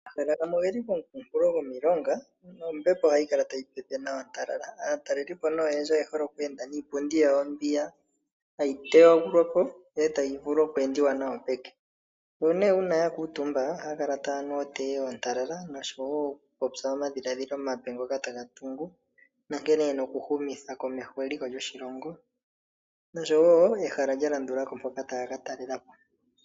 Omahala gamwe oge li komikunkulo go milonga no mbepo hayi kala tayi pepe nawa ontalala. Aatalelipo ne oyendji oye holo okweenda niipundi yawo mbiya hayi teyagulwa po ndele tayi vulu okweendiwa nayo peke. Nuuna nee ya kuutumba ohaya kala taya nu otee ontalala noshowo oku popya omadhiladhilo omape ngoka taga tungu nonkene yena oku humitha komeho eliko lyoshilongo, noshowo ehala lya landulako mpoka taya ka talelapo.